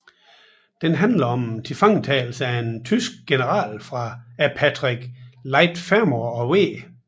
Den handler om tilfangetagelsen af en tysk general af Patrick Leigh Fermor og W